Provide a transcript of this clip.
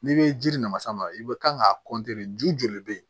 N'i bɛ jiri nanamasama i bɛ kan k'a ju joli bɛ yen